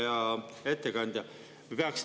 Hea ettekandja!